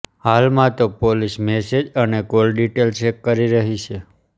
હાલમાં તો police message અને કોલ ડીટેલ ચેક કરી રહી છે